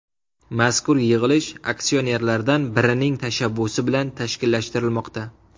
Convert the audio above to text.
Mazkur yig‘ilish aksionerlardan birining tashabbusi bilan tashkillashtirilmoqda.